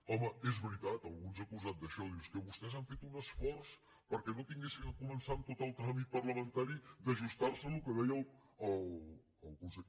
home és veritat algú ens ha acusat d’això diu és que vostès han fet un esforç perquè no haguessin de començar amb tot el tràmit parlamentari d’ajustarse al que deia el consell